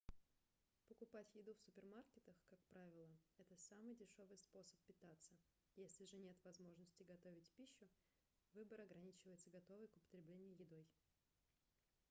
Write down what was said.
покупать еду в супермаркетах как правило - это самый дешёвый способ питаться если же нет возможности готовить пищу выбор ограничивается готовой к употреблению едой